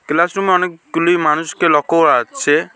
Class room -এ অনেকগুলি মানুষকে লক্ষ করা যাচ্ছে।